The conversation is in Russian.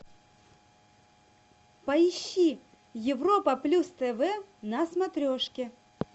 поищи европа плюс тв на смотрешке